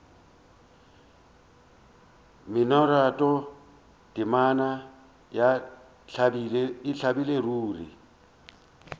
mminoratho temana ya ntlabile ruri